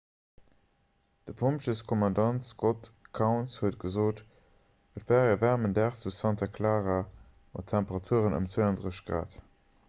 de pompjeeskommandant scott kouns huet gesot: et war e waarmen dag zu santa clara mat temperaturen ëm 32 °c